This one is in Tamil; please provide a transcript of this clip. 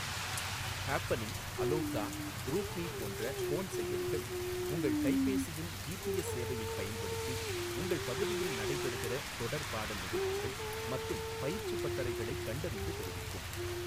ஹேப்பனிங், அலோகா, குரூப்மீ போன்ற போன் செயலிகள் உங்கள் கைபேசியின் ஜிபிஎஸ் சேவையைப் பயன்படுத்தி உங்கள் பகுதியில் நடைபெறுகிற தொடர்பாடல் நிகழ்ச்சிகள் மற்றும் பயிற்சிப் பட்டறைகளைக் கண்டறிந்து தெரிவிக்கும்.